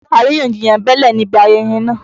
Àríyànjiyàn bẹ́lẹ̀ níbi ayẹyẹ náà.